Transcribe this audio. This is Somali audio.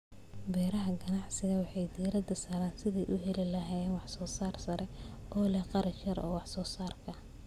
Beeraha ganacsiga waxay diiradda saaraan sidii ay u heli lahaayeen wax-soo-saar sare oo leh kharash yar oo wax-soo-saarka.